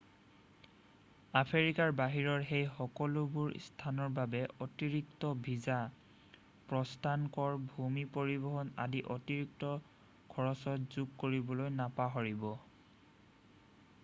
আফ্ৰিকাৰ বাহিৰৰ সেই সকলোবোৰ স্থানৰ বাবে অতিৰিক্ত ভিছা প্ৰস্থান কৰ ভূমি পৰিবহণ আদি অতিৰিক্ত খৰচত যোগ কৰিবলৈ নাপাহৰিব